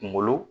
Kunkolo